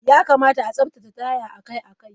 Ya kamata a tsaftace taya akai-akai.